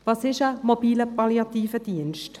Was ist ein MPD?